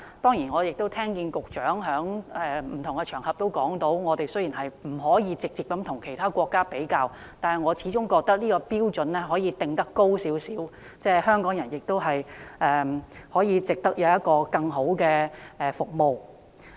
雖然我聽到局長在不同場合都指出，本港不可以直接與其他國家比較，但我始終覺得可以把標準定得高一點，香港人值得享有更好的服務。